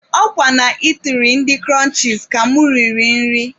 Ọ kwa na itiri ndị Kụrụnchis ka mụ riri nri.